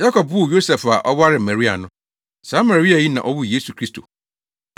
Yakob woo Yosef a ɔwaree Maria no. Saa Maria yi na ɔwoo Yesu Kristo.